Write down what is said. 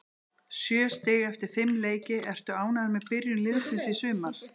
Sjö stig eftir fimm leiki, ertu ánægður með byrjun liðsins í sumar?